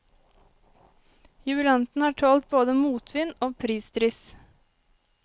Jubilanten har tålt både motvind og prisdryss.